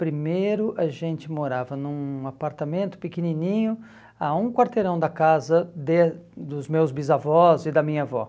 Primeiro, a gente morava num apartamento pequenininho, a um quarteirão da casa de dos meus bisavós e da minha avó.